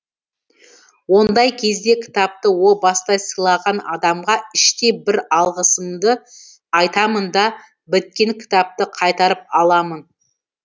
ондай кезде кітапты о баста сыйлаған адамға іштей бір алғысымды айтамын да біткен кітапты қайтарып аламын